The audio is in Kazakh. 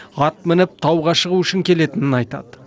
ат мініп тауға шығу үшін келетінін айтады